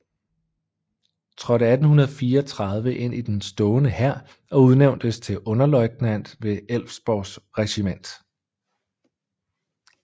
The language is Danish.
Trådte 1834 ind i den stående hær og udnævntes til underløjtnant ved Älvsborgs regiment